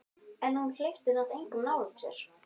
En hún hleypti samt engum nálægt sér.